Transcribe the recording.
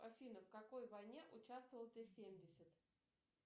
афина в какой войне участвовал т семьдесят